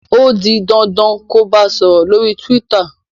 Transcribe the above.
o dì dandan kò bá sòrò lórí twitter!